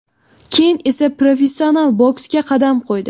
Keyin esa professional boksga qadam qo‘ydi.